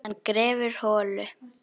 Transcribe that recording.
Hann grefur holu.